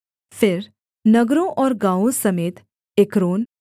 फिर नगरों और गाँवों समेत एक्रोन